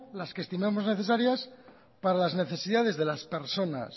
las que estimemos necesarias para las necesidades de las personas